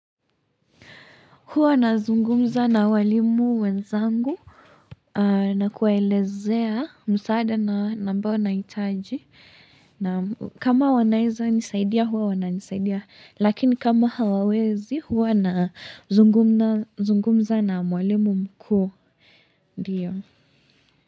Huwa nazungumza na walimu wenzangu. Na kuwaelezea msaada na ambao nahitaji. Kama wanaeza nisaidia huwa wana nisaidia. Lakini kama hawawezi huwa na zungumza na mwalimu mkuu. Ndio.